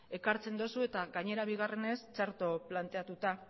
ekartzen duzu eta gainera bigarrenez txarto planteatuta